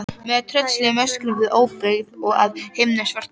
Með tröllslegum öskrum um óbyggð og að himni svörtum.